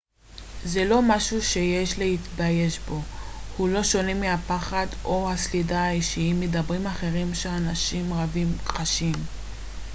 זה לא משהו שיש להתבייש בו הוא לא שונה מהפחד או הסלידה האישיים מדברים אחרים שאנשים רבים חשים